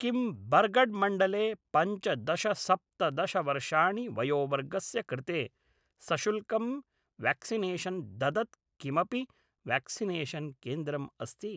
किं बरगढ़् मण्डले पञ्चदश सप्तदशवर्षाणि वयोवर्गस्य कृते सशुल्कं व्याक्सिनेशन् ददत् किमपि व्याक्सिनेशन् केन्द्रम् अस्ति